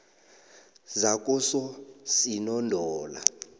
zakososinondola